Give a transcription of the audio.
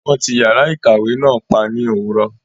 Wọn tí yàrá ìkàwé náà pa ní òwúrọ̀.